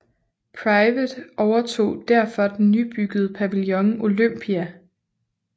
Private overtog derfor den nybyggede pavillion Olympia